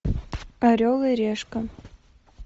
орел и решка